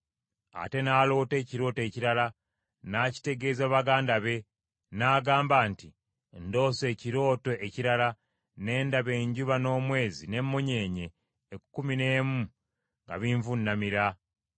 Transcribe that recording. Ate n’aloota ekirooto ekirala n’akitegeeza baganda be, n’agamba nti, “Ndoose ekirooto ekirala: ne ndaba enjuba n’omwezi n’emmunyeenye ekkumi n’emu nga binvuunamira.”